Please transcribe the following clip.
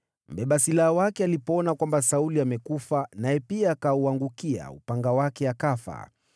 Mbeba silaha wake alipoona kwamba Sauli amekufa, naye pia akauangukia upanga wake akafa.